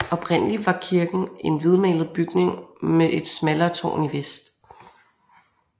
Oprindelig var kirken en hvidmalet bygning med et smallere tårn i vest